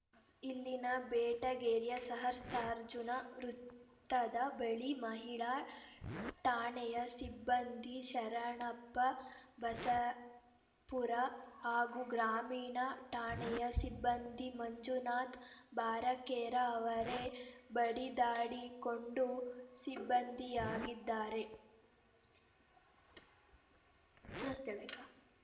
ಇಲ್ಲಿನ ಬೆಟಗೇರಿಯ ಸಹಸ್ರಾರ್ಜುನ ವೃತ್ತದ ಬಳಿ ಮಹಿಳಾ ಠಾಣೆಯ ಸಿಬ್ಬಂದಿ ಶರಣಪ್ಪ ಬಸಾಪುರ ಹಾಗೂ ಗ್ರಾಮೀಣ ಠಾಣೆಯ ಸಿಬ್ಬಂದಿ ಮಂಜುನಾಥ್‌ ಬಾರಕೇರ ಅವರೇ ಬಡಿದಾಡಿಕೊಂಡ ಸಿಬ್ಬಂದಿಯಾಗಿದ್ದಾರೆ